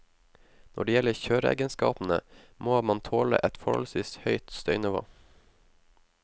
Når det gjelder kjøreegenskapene, må man tåle et forholdsvis høyt støynivå.